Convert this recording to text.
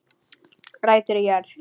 Rætur í jörð